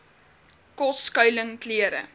kos skuiling klere